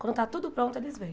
Quando está tudo pronto, eles vêm.